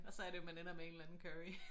Og så er det jo man ender med en eller anden curry